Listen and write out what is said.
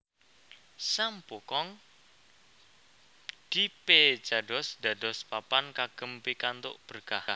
Sam Poo Kong dipeecados dados papan kagem pikantuk berkah